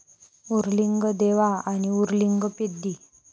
उर्लिंगदेवा आणि उर्लिंग पेद्दी